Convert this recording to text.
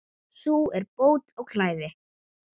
Sú er bót á klæði.